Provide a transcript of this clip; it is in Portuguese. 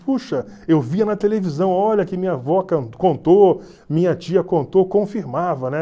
Puxa, eu via na televisão, olha que minha avó contou, minha tia contou, confirmava, né?